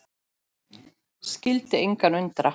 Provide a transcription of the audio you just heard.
Skyldi engan undra.